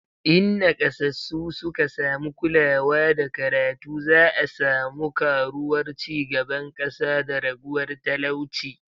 In nakasassu suka samu kulawa da karatu, za'a samu karuwar ci gaban kasa da raguwar talauci